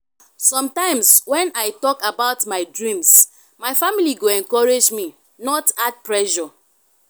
sometimes when i talk about my dreams my family go encourage me not add pressure.